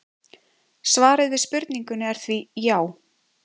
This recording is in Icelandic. svarið við spurningunni er því já!